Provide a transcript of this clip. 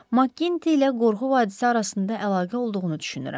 Maqginti ilə qorxu hadisəsi arasında əlaqə olduğunu düşünürəm.